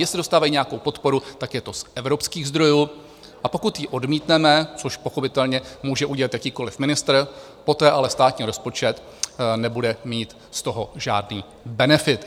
Jestli dostávají nějakou podporu, tak je to z evropských zdrojů, a pokud ji odmítneme, což pochopitelně může udělat jakýkoliv ministr, poté ale státní rozpočet nebude mít z toho žádný benefit.